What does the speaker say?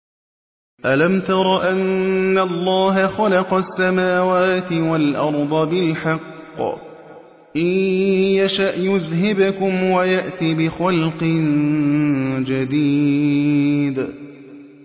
أَلَمْ تَرَ أَنَّ اللَّهَ خَلَقَ السَّمَاوَاتِ وَالْأَرْضَ بِالْحَقِّ ۚ إِن يَشَأْ يُذْهِبْكُمْ وَيَأْتِ بِخَلْقٍ جَدِيدٍ